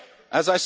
outlined.